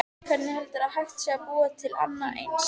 Hvernig heldurðu að hægt sé að búa til annað eins?